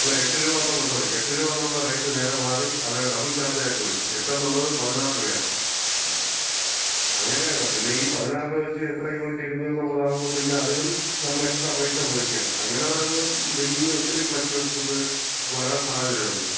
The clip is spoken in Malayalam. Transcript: അല്ല, 8 രൂപാന്നുള്ള, സോറി 8 രൂപാന്നുള്ള റേറ്റ് നേരെ മാറി അത് ഡബിൾ ചാർജായിട്ട് വരും. 8 എന്നൊള്ളത് 16 രൂപയാവും. അങ്ങനെയാണ്. പിന്നെയീ 16-ന് വെച്ച് എത്ര യൂണിറ്റ് എരിഞ്ഞുന്നുള്ളതാവുമ്പം പിന്നെ അതിനും നമ്മള് എക്സ്ട്രാ പൈസ കൊടുക്കാണ്. അങ്ങനെ വരുമ്പം ബില്ലില് ഒത്തിരി ഫ്ലെക്ച്ചുവേഷൻസ് വരാൻ സാധ്യതയുണ്ട്.